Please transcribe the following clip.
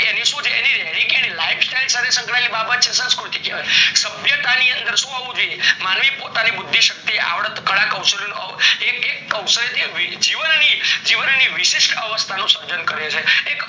એનું શું છે કે રેની કેણી lifestyle સાથે સંક્યાયેલ બાબત છે જેને સંસ્કૃતિ કહેવાય, સભ્યતા ની અંદર શું આવું જોઈએ માનવી પોતાની બુશી શક્તિ કળા કૌશલ નો એક એક અવસર જીવની વિશેહ્સ અવસ્થા નું સર્જન કરે છે